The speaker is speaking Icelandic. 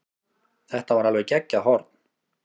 Þetta var alveg geggjað horn.